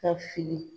Ka fili